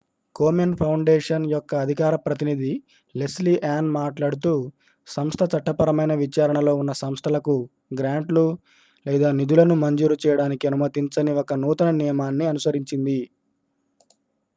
Komen Foundation యొక్క అధికార ప్రతినిధి లెస్లీ ఆన్ మాట్లాడుతూ సంస్థ చట్టపరమైన విచారణ లో ఉన్న సంస్థలకు గ్రాంట్లు లేదా నిధులను మంజూరు చేయడానికి అనుమతించని ఒక నూతన నియమాన్ని అనుసరించింది